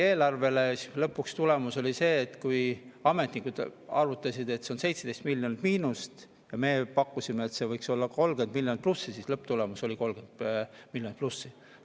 Lõpuks oli tulemus see, et kui ametnikud arvutasid, et see toob 17 miljonit miinust, ja meie pakkusime, et see võiks olla 30 miljonit plussi, siis lõpptulemus oli 30 miljonit plussi.